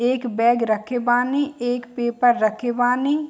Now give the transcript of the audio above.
एक बैग रखे बानी एक पेपर रखे बानी।